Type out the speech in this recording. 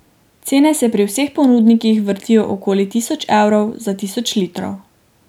Cene se pri vseh ponudnikih vrtijo okoli tisoč evrov za tisoč litrov.